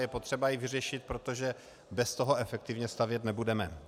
Je potřeba ji vyřešit, protože bez toho efektivně stavět nebudeme.